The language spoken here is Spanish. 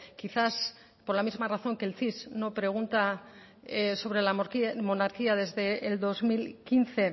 quizás por la misma razón que el cis no pregunta sobre la monarquía desde el dos mil quince